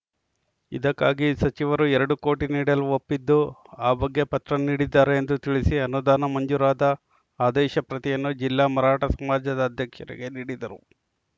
ಇದಕ್ಕಾಗಿ ಸಚಿವರು ಎರಡು ಕೋಟಿ ನೀಡಲು ಒಪ್ಪಿದ್ದು ಆ ಬಗ್ಗೆ ಪತ್ರ ನೀಡಿದ್ದಾರೆ ಎಂದು ತಿಳಿಸಿ ಅನುದಾನ ಮಂಜೂರಾದ ಆದೇಶ ಪ್ರತಿಯನ್ನು ಜಿಲ್ಲಾ ಮರಾಠ ಸಮಾಜದ ಅಧ್ಯಕ್ಷರಿಗೆ ನೀಡಿದರು